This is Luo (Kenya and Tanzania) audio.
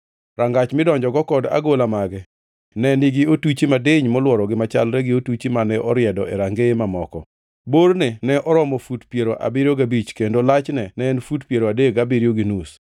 Rangach midonjogo kod agola mage ne nigi otuchi madiny molworogi machalre gi otuchi mane oriedo e rangeye mamoko. Borne ne oromo fut piero abiriyo gabich kendo lachne en fut piero adek gabiriyo gi nus.